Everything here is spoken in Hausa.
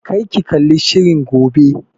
Kar ki kalli shirin gobe!